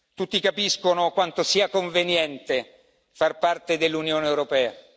Tutti capiscono quanto sia conveniente far parte dell'Unione europea.